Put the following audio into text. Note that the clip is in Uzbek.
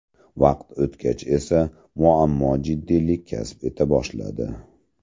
Vaqt o‘tgach esa muammo jiddiylik kasb eta boshladi.